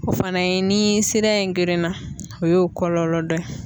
O fana ye ni sira in gerenna o ye o kɔlɔlɔ dɔ ye.